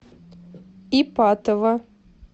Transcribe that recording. ипатово